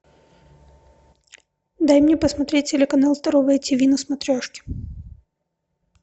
дай мне посмотреть телеканал здоровое тв на смотрешке